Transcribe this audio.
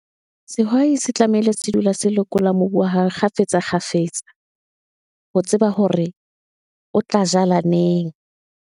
Sehwai se tlamehile se dula se lekola mobu wa hae, kgafetsa, kgafetsa, ho tseba hore o tla jala neng.